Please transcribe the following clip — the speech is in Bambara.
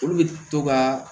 Olu bɛ to ka